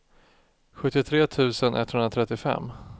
sjuttiotre tusen etthundratrettiofem